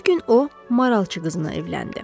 Bir gün o maralçı qızına evləndi.